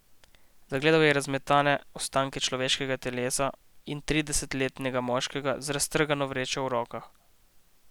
Zagledal je razmetane ostanke človeškega telesa in tridesetletnega moškega z raztrgano vrečo v rokah.